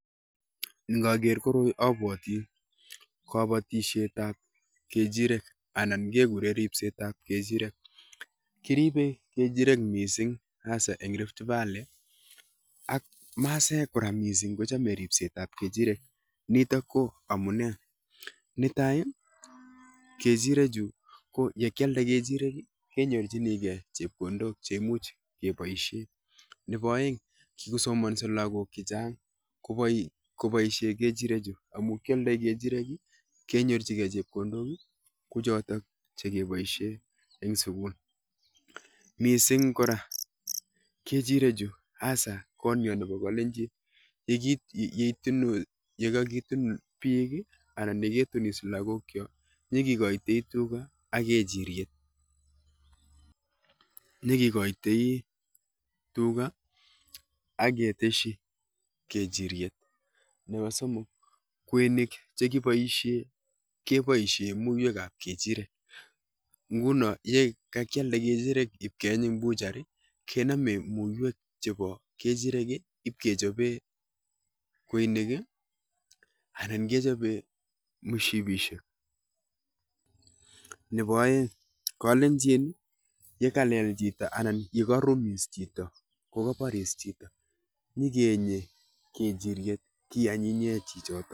Nkaker koroi abwoti kabatishetap kechirek anan kekure ripsetap kechirek. kiripe kechirek mising hasa eng Rift valley ak masaek kora mising kochome ripsetap kechirek nitok ko amune; Nitai, ko kechirechu ko yekyalde kechirek, kenyorchinikei chepkondok cheimuch kepoishe nepo oeng kikosomonso lagok chechang kopoishe kechirechu amu kyoldoi kechirek, kenyorchikei chepkondok, ko chotok chekeboishe eng sugul. Mising kora kechirechu, hasa konyo nepo kalenjin, yekakitun biik, anan yiketunis lagokcho nyikekoitoi tuga ak kechiryet, nyikekoitoi tuga aketeshi kechiryet. Nepo somok kweinik chekiboishe keboishe muiwekap kechirek, nguno yekekyalde kechirek ipkeeny eng buchery keome muwek chepo kechirek ipkechope kweinik anan kechope mushipishek. Nepo oeng, kalenjin yokalel chito anan yekarumis chito kokaporis chito nyikeenye kechiryet kianyinye chichoto.